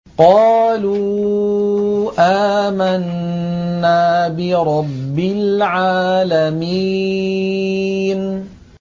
قَالُوا آمَنَّا بِرَبِّ الْعَالَمِينَ